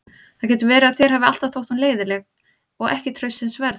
Það getur verið að þér hafi alltaf þótt hún leiðinleg og ekki traustsins verð.